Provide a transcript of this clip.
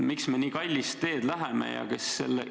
Miks me nii kallist teed läheme?